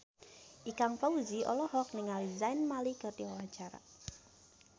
Ikang Fawzi olohok ningali Zayn Malik keur diwawancara